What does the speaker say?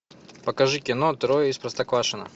покажи кино трое из простоквашино